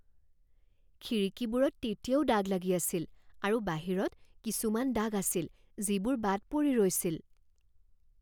খিৰিকীবোৰত তেতিয়াও দাগ লাগি আছিল আৰু বাহিৰত কিছুমান দাগ আছিল যিবোৰ বাদ পৰি ৰৈছিল।